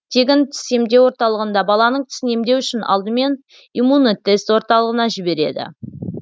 тегін тіс емдеу орталығында баланың тісін емдеу үшін алдымен иммунотест орталығына жібереді